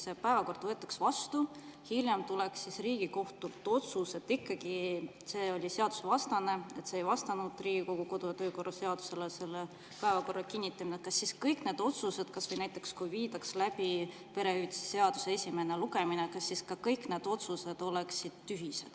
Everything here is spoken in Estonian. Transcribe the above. Kui päevakord, aga hiljem tuleb Riigikohtult otsus, et see oli seadusevastane, see ei vastanud Riigikogu kodu‑ ja töökorra seadusele – selle päevakorra kinnitamine –, siis kas kõik need otsused, kas või näiteks see, kui viidaks läbi perehüvitiste seaduse esimene lugemine, oleksid tühised?